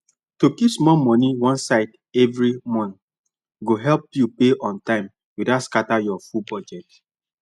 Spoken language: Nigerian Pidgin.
to keep small money one side every month go help you pay on time without scatter your full budget